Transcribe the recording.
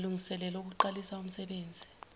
malungiselelo okuqalisa umsenbenzi